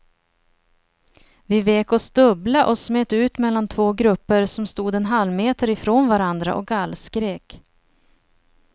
Vi vek oss dubbla och smet ut mellan två grupper som stod en halvmeter ifrån varandra och gallskrek.